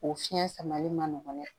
O fiɲɛ samali ma nɔgɔn dɛ